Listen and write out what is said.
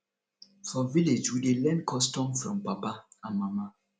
for village we dey learn custom from papa and mama